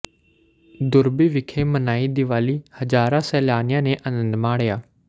ਦੁਰਬੀ ਵਿਖੇ ਮਨਾਈ ਦੀਵਾਲੀ ਹਜਾਰਾ ਸੇਲਾਨੀਆ ਨੇ ਅਨੰਦ ਮਾਣਿਆ